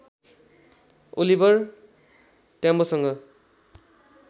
Oliver ट्याम्बोसँग